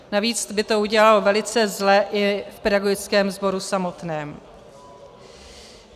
Navíc by to udělalo velice zle i v pedagogickém sboru samotném.